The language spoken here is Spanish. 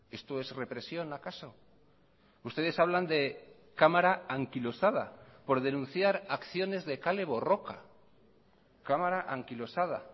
esto es represión acaso ustedes hablan de cámara anquilosada por denunciar acciones de kale borroka cámara anquilosada